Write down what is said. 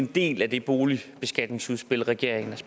en del af det boligbeskatningsudspil regeringen